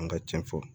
An ka cɛn fɔ